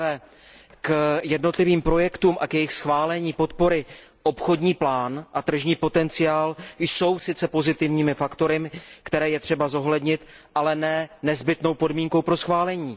Za prvé, k jednotlivým projektům a k jejich schválení a podpoře obchodní plán a tržní potenciál jsou sice pozitivními faktory, které je třeba zohlednit, ale ne nezbytnou podmínkou pro schválení.